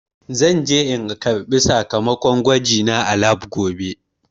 Zan je in karɓi sakamakon gwajina a lab gobe.